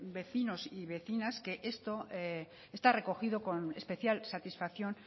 vecinos y vecinas que esto está recogido con especial satisfacción